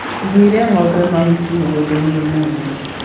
Nduĩre ngombe mahuti mũgundainĩ ũmũthĩ.